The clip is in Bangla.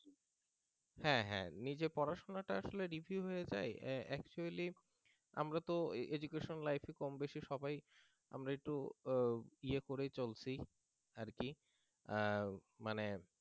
হ্যাঁ হ্যাঁ নিজে পড়াশুনাটা আসলে review হয়ে যায় actually আমরা তো education life কমবেশি সবাই আমরা একটু ইয়ে করেই চলছি আর কি মানে